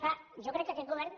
clar jo crec que aquest govern